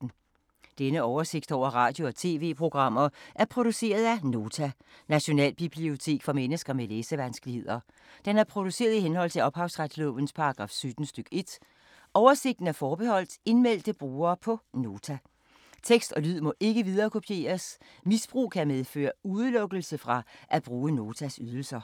Denne oversigt over radio og TV-programmer er produceret af Nota, Nationalbibliotek for mennesker med læsevanskeligheder. Den er produceret i henhold til ophavsretslovens paragraf 17 stk. 1. Oversigten er forbeholdt indmeldte brugere på Nota. Tekst og lyd må ikke viderekopieres. Misbrug kan medføre udelukkelse fra at bruge Notas ydelser.